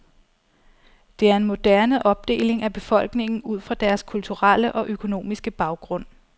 Det er en moderne opdeling af befolkningen ud fra deres kulturelle og økonomiske baggrund.